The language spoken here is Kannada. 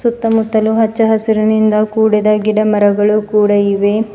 ಸುತ್ತ ಮುತ್ತಲೂ ಹಚ್ಚ ಹಸುರಿನಿಂದ ಕೂಡಿದ ಗಿಡ ಮರಗಳು ಕೂಡ ಇವೆ.